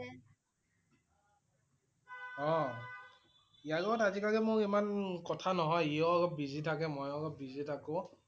অ' ইয়াৰ লগত আজি কালি মোৰ ইমা~ন~ন কথা নহয়। ইয়ো অলপ busy থাকে, মইও অলপ busy থাকো।